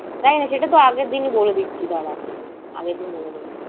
জানি না, সেটা তো আগের দিনই বলে দিচ্ছি দাড়া। আগের দিন বলে দেব।